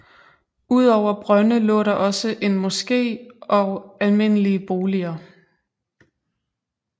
Udover brønde lå der også en moske og almindelige boliger